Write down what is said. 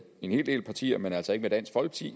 en hel del partier men altså ikke